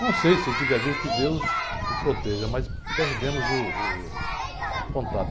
Não sei se ele tiver vivo, que deus o proteja, mas perdemos uh, o contato.